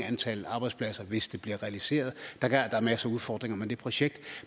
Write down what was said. antal arbejdspladser hvis det bliver realiseret der er masser af udfordringer med det projekt